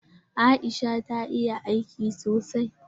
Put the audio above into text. Aisha ta iya aiki sosai?